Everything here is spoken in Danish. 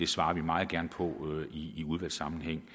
svarer vi meget gerne på i udvalgssammenhæng